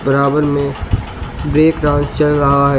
बराबर में break dance चल रहा है।